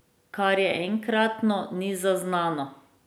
Kar je enkratno, ni zaznano.